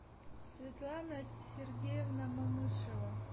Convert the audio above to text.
светлана сергеевна мамышева